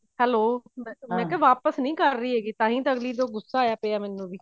hello ਮੈਂ ਕਿਹਾ ਵਾਪਿਸ ਨੀ ਕਰ ਰਹੀ ਹੈਗੀ ਤਾਹੀਂ ਤਾਂ ਅਗਲੀ ਤੇ ਗੁਸਾ ਆਇਆ ਹੋਇਆ ਮੈਨੂੰ ਵੀ